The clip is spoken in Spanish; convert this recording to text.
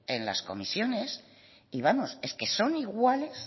en las comisiones y vamos es que son iguales